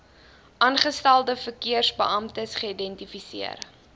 aangestelde verkeersbeamptes geïdentifiseer